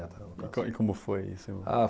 E co, e como foi isso? Ah